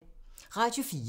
Radio 4